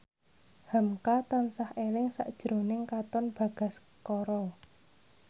hamka tansah eling sakjroning Katon Bagaskara